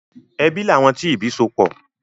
Ẹbí làwọn tí ìbí sopọ̀.